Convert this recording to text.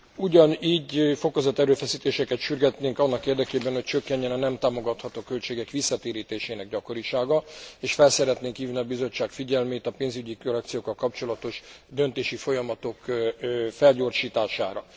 Ugyanígy fokozott erőfeszítéseket sürgetnénk annak érdekében, hogy csökkenjen a nem támogatható költségek visszatérítésének gyakorisága, és fel szeretnénk hívni a Bizottság figyelmét a pénzügyi korrekciókkal kapcsolatos döntési folyamatok felgyorsítására.